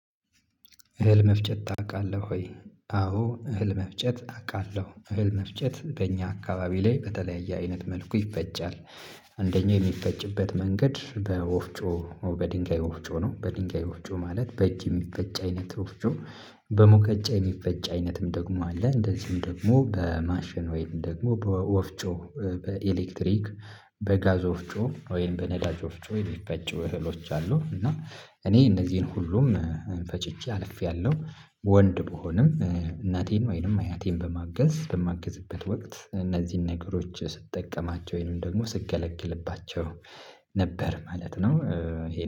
እህል መፍጨት ታቃለህ ወይ? አዎ እህል መፍጨት አውቃለሁ እህል መፍጨት በእኛ አካባቢ ላይ በተለያየ አይነት መልኩ ይፈጫል አንደኛው የሚፈጭበት መንገድ በወፍጮ በድንጋይ ወፍጮ ነው በድንጋይ ወፍጮ ማለት በእጅ የሚፈጭ አይነት ወፍጮ በሙቀጫ የሚፈጭ አይነትም ደግሞ አለ እንደዚሁም ደግሞ በማሽን ወይም ደግሞ በወፍጮ በኤሌክትሪክ በጋዝ ወፍጮ ወይም በነዳጅ ወፍጮ የሚፈጩ እህሎች አሉ እና እኔ እነዚህን ሁሉም ፈጭቼ አልፌያለሁ ወንድ ብሆንም እናቴን ወይንም አያቴን በማገዝ በማገዝበት ወቅት እነዚህን ነገሮች ስጠቀማቸው ይሄንን ደግሞ ስገለግልባቸው ነበር ማለት ነው